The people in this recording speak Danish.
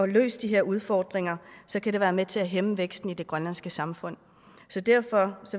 løst de her udfordringer kan det være med til at hæmme væksten i det grønlandske samfund derfor